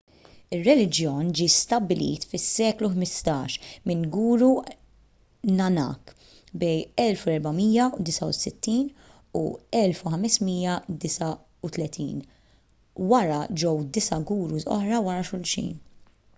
ir-reliġjon ġie stabbilit fis-seklu 15 minn guru nanak 1469–1539. wara ġew disa' gurus oħra wara xulxin